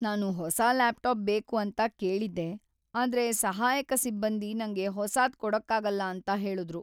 ನಾನು ಹೊಸ ಲ್ಯಾಪ್‌ಟಾಪ್ ಬೇಕು ಅಂತ ಕೇಳಿದ್ದೆ, ಆದ್ರೆ ಸಹಾಯಕ ಸಿಬ್ಬಂದಿ ನಂಗೆ ಹೊಸಾದ್ ಕೊಡಕ್ಕಾಗಲ್ಲ ಅಂತ ಹೇಳುದ್ರು.